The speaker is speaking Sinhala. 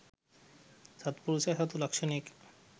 සත්පුරුෂයා සතු ලක්‍ෂණයකි.